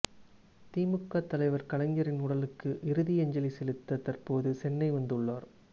திமுக தலைவர் கலைஞரின் உடலுக்கு இறுதி அஞ்சலி செலுத்த தற்போது சென்னை வந்துள்ளார்